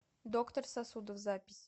доктор сосудов запись